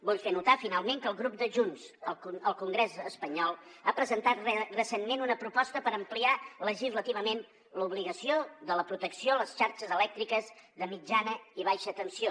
vull fer notar finalment que el grup de junts al congrés espanyol ha presentat recentment una proposta per ampliar legislativament l’obligació de la protecció a les xarxes elèctriques de mitjana i baixa tensió